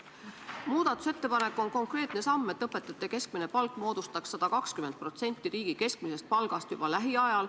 Muudatusettepanek on konkreetne samm, et õpetajate keskmine palk moodustaks juba lähiajal 120% riigi keskmisest palgast.